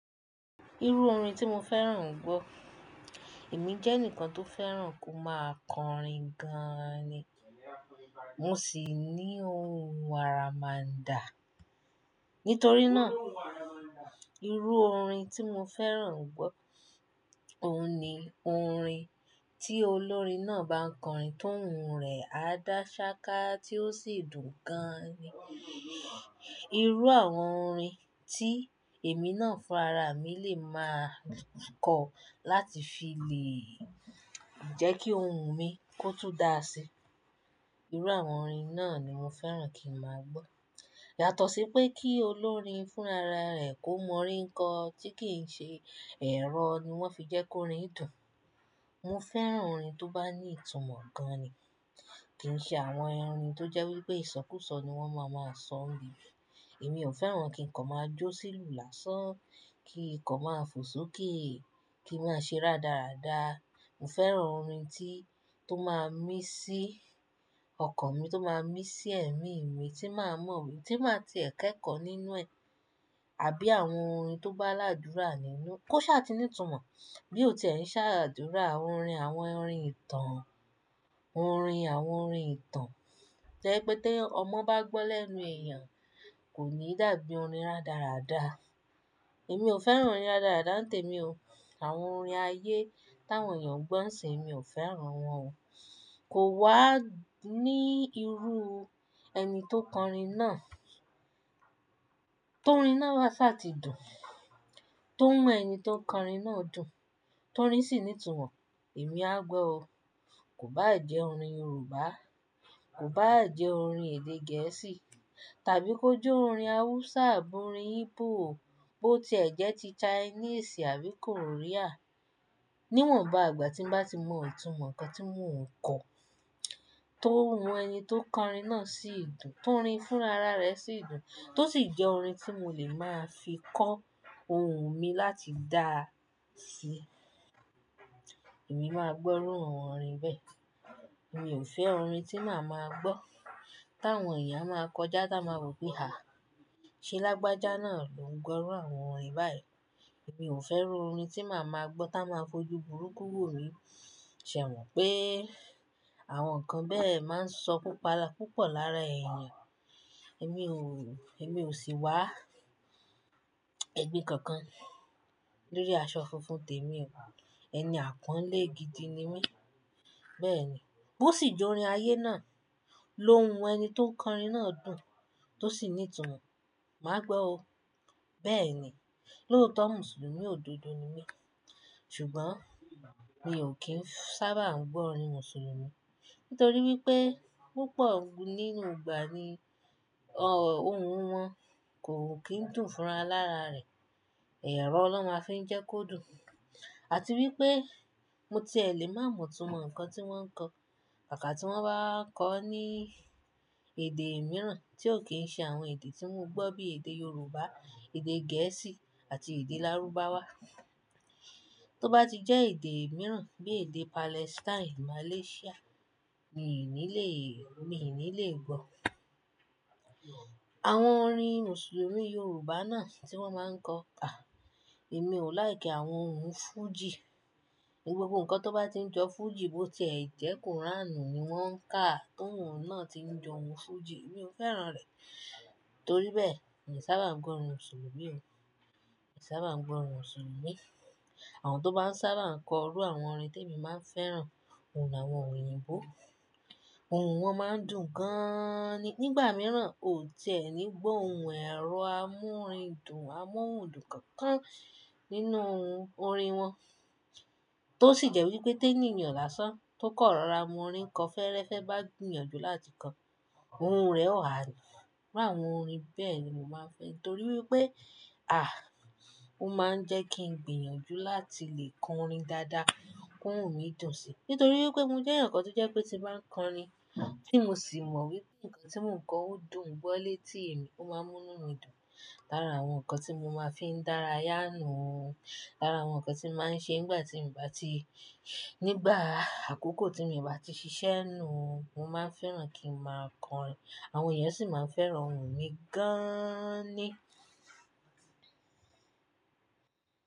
Irú orin tí mo fẹ́ràn gbọ́, èmi jẹ́ ẹnìkan tó fẹ́ràn kó máa kọ orin gan ni. Mo sì ní ohun aramándà. Nítorí náà, irú orin tí mo fẹ́ràn gbọ́, òun ni orin tí olórin náà bá ń kọ orin tó ohùn rẹ̀ á dà ṣáká tí ó sì dùn gan ni. Irú àwọn orin tí èmi náà fún ara mi lè máa kọ láti fi lè jẹ́ kí ohun mi kó tún dà sí. Irú àwọn orin náà ni mo fẹ́ràn kí n máa gbọ́. Yàtọ̀ sí pé kí olórin fún ara rẹ̀ kó mọ orin kan tí kì í ṣe ẹ̀rọ ni wọ́n fi jẹ́ kó orin dùn. Mo fẹ́ràn orin tó bá ní ìtumọ̀ gan ni. Kì í ṣe àwọn orin tó jẹ́ wí pé ìṣọkúsọ ni wọ́n máa maa sọ ninibe. Èmi ò fẹ́ràn kí ǹkan máa jó sí lù lásán, kí ǹkan máa fò sókè, kí i máa ṣe rádaràda. Mo fẹ́ràn orin tí, tó máa mí sí ọkàn mi, tó máa mí sí ẹ̀mí mi, tí màá mọ̀ wí, tí màá ti ẹ̀ kẹ́ kọ́ nínú ẹ. Àbí àwọn orin tó bá ládúrà nínú, kó ṣá ti ní ìtumọ̀. Bí ó tiẹ̀ ń ṣàdúrà, orin, àwọn orin ìtàn, orin, àwọn orin ìtàn. To je wipé tí ọmọ bá gbọ́ lẹ́nu èèyàn kò ní dàbí orin rádaràda. Èmi ò fẹ́ràn orin rádaràda, n tèmi o. Àwọn orin ayé, táwọn èèyàn gbọ́ ńsin mi ò fẹ́ràn wọ́n o. Kò wá ní irú ẹni tó kọ orin náà, toorin náà bá ṣá ti dùn, tóhun ẹni tó kọrin náà dùn, tóorin sì ní ìtumọ̀, èmi á gbọ́ o. Kò bá jẹ́ orin Yorùbá, kò bá jẹ́ orin èdè Gẹ̀ẹ́sì tàbí kó jẹ́ orin hausa àborin Igbo, bó ti ẹ̀ jẹ́ ti Chinese àbí Korean. Níwọ̀n bá àgbà tí ń bá ti mọ ìtumọ̀ ǹkan tí mọ ń kọ, tóhun ẹni tó kọ orin náà sí ìdùn, tóorin fúnra ra rẹ̀ síìdùn, tó sì jẹ́ orin tí mo lè máa fi kọ ohun mi láti dà sí, èmi máa gbọ́ irú àwọn orin bẹ́ẹ̀. Èmi ò fẹ́ orin tí màá máa gbọ́ táwọn èèyàn máa kọjá táa máa wopé, "àh! Ṣee lagbájá náà ló ń gbọ́ irú àwọn orin báyìí." Èmi ò fẹ́ iru orin tí màá máa gbọ́ táa máa fojú burúkú wò mí. Ṣẹ̀ mọ̀ pé àwọn ǹkan bẹ́ẹ̀ máa ń sọ púpa púpọ̀ lára èèyàn. Èmi ò, èmi ò sì wá ẹgbin kankan lórí aṣọ funfun tèmi o. Ẹni àpọ́nlé gidi ni mí. Bẹ́ẹ̀ ni. Bó sì jẹ́ orin ayé náà lohun ẹni tó kọorin náà dùn tó sì ní ìtumọ̀, màá gbọ́ o. Bẹ́ẹ̀ ni. Lóòótọ́ Mùsùlùmí òdodo ni mí. Ṣùgbọ́n mi ò kí ń sábà ń gbọ́ orin Mùsùlùmí nítorí wípé púpọ̀ nínú ìgbà ni, ọ̀ ohun wọn kò kín dùn fún ara lára rẹ̀. Ẹ̀rọ lo máa fi ń jẹ́ kó dùn. Àti wípé mo tiẹ̀ lè máa mọ ìtumọ̀ ǹkan tí wọ́n ń kọ. Kàkà tí wọ́n bá ń kọ ní èdè mìíràn tí ò kí ń ṣe àwọn èdè tí mo gbọ́ bí èdè Yorùbá, èdè Gẹ̀ẹ́sì àti èdè Lárúbáwá. Tó bá ti jẹ́ èdè mìíràn bí èdè Palestine, Malaysia, mi ò ní lè, mi ò ní lè gbọ́. Àwọn orin Mùsùlùmí Yorùbá náà tí wọ́n máa ń kọ, à, èmi ò like àwọn ohun Fuji. Gbogbo ǹkan tó bá ti ń jọ Fuji bó ti ẹ̀ jẹ́ Quran ni wọ́n ń ká tóohun náà ti ń jọ ohun Fuji, èmi ò fẹ́ràn rẹ̀. Nítorí bẹ́ẹ̀, èmi sábà ń gbọ́ orin Mùsùlùmí o. Èmi sábà ń gbọ́ orin Mùsùlùmí. Àwọn tó bá ń sábà kọ irú àwọn orin tí èmi máa ń fẹ́ràn, òun ni àwọn òyìnbó. Ohun wọn máa ń dùn gan ni. Nígbà mìíràn o ti ẹ́ ni gbọ́ ohun ẹ̀rọ amórìndùn, amóhundùn kankan nínú orin wọn. Tó sì jẹ́ wípé tí eniyan lásán tó kan rọ̀ra mọ orin kan fẹ́rẹ́ fẹ́ bá gbìyànjú láti kọ, ohun rẹ̀ ó ha. Irú àwọn orin bẹ́ẹ̀ ni mo máa ń fẹ́ torí wípé, àh! Ó máa ń jẹ́ kí ń gbìyànjú láti lè kọorin dáadáa kóohun mi dùn sí. Nítorí wípé mo jẹ́ ẹnìkan tó jẹ́ pé tí bá ń kọ orin, tí mo sì mọ̀ wípé ǹkan tí mò ń kọ ó dùn gbọ́ létí èmi, ó máa mú nu dùn. Lára àwọn ǹkan tí mo máa ń fi dára yá nu o. Lára àwọn ǹkan tí màá ń ṣe nígbà tí m bá ti, nígbà àkókò tí mi bá ti ṣiṣẹ́ nu. Mo máa ń fẹ́ràn kí n máa kọorin. Àwọn èèyàn sì máa ń fẹ́ràn ohùn mi gaaan ni.